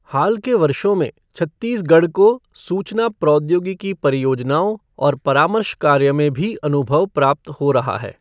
हाल के वर्षों में, छत्तीसगढ़ को सूचना प्रौद्योगिकी परियोजनाओं और परामर्श कार्य में भी अनुभव प्राप्त हो रहा है।